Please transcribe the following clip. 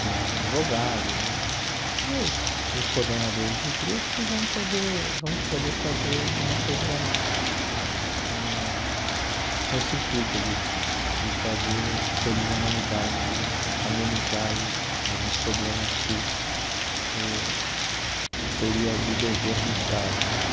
de um advogado, de dos dos coordenadores do grupo e vamos poder vamos poder fazer alguma coisa eh com esse intuito de de fazer feliz a humanidade, de amenizar aí alguns problemas que o seria de dever do Estado né.